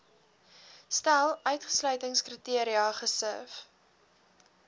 stel uitsluitingskriteria gesif